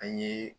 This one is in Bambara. An ye